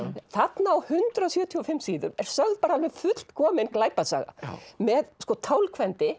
þarna á hundrað sjötíu og fimm síðum er sögð alveg fullkomin glæpasaga með